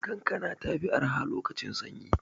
Kankana ta fi arha lokacin sanyi.